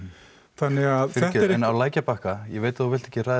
þannig að fyrirgefðu en á lækjarbakka ég veit að þú vilt ekki ræða